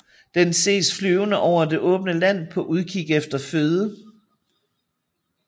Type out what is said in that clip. Den ses flyvende over det åbne land på udkik efter føde